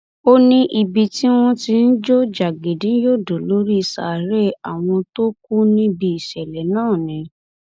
ó ní bíi ìgbà tí wọn ń jó jágínní yọdọ lórí sàárè àwọn tó kù níbi ìṣẹlẹ náà ni